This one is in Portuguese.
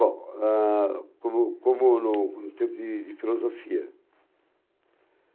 Bom, ah, como como no curso de de Filosofia?